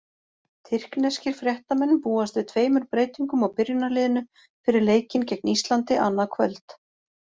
Tyrkneskir fréttamenn búast við tveimur breytingum á byrjunarliðinu fyrir leikinn gegn Íslandi, annað kvöld.